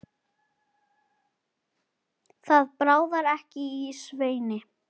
Það bráði ekki af Sveini.